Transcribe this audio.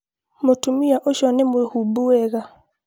mũtumia ũcio nĩ mwĩhũbu wega